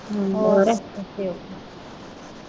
ਹੋਰ okay. ਓ ਕੇ.